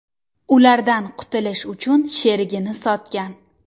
ulardan qutulish uchun sherigini sotgan.